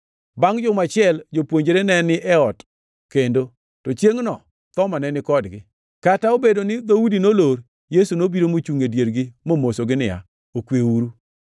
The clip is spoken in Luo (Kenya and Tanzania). Bangʼ juma achiel, jopuonjre ne ni ei ot kendo, to chiengʼno Thoma ne ni kodgi. Kata obedo ni dhoudi nolor, Yesu nobiro mochungʼ e diergi momosogi niya, “Okweuru!”